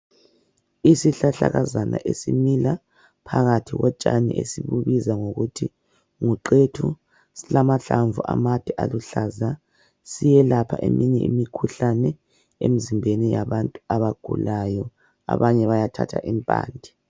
Isihlahlakazana esimila phakathi kotshani esibubiza ngokuthi nguqethu silamahlamvu amade aluhlaza. Siyelapha eminye imikhuhlane emzimbeni yabantu abagulayo. Abanye bayathatha impande.